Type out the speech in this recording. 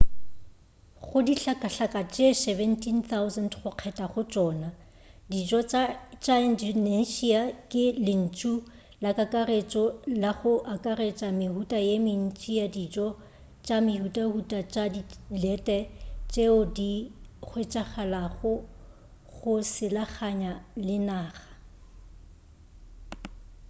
go dihlakahlaka tše 17,000 go kgetha go tšona dijo tša indonesia ke lentšu la kakaretšo la go akaretša mehuta ye mentši ya dijo tša mehutahuta tša dilete tšeo di hwetšagalago go selaganya le naga